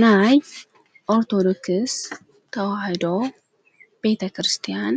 ናይ ኣርቶዶክስ ተውሃዶ ቤተ ክርስቲያን